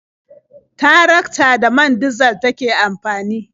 Tarakta da man dizal take amfani.